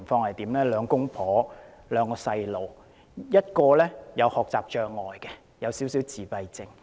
一對夫婦有兩個孩子，一個有學習障礙及輕微自閉症。